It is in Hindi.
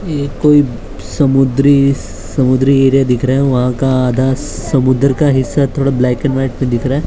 ये कोई समुद्री समुद्री एरिया दिख रहा है वहां का आधा समुद्र का हिस्सा थोड़ा ब्लैक एंड वाइट पे दिख रहा है।